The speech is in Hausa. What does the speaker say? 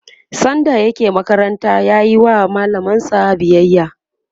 sanda yake makaranta yayi wa mallamansa biyaya